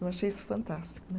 Eu achei isso fantástico né.